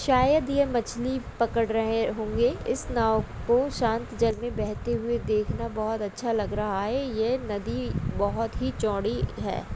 शायद ये मछली पकड़ रहे होगे इस नाव को शांत जल मे बहते हुआ देखना बहोत अच्छा लग रहा है ये नदी बहोत ही चौड़ी है ।